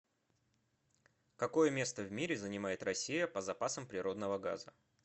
какое место в мире занимает россия по запасам природного газа